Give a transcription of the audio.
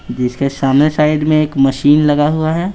इसके सामने साइड में एक मशीन लगा हुआ है।